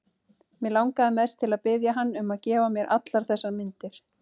Mig langaði mest til að biðja hann um að gefa mér allar þessar myndir.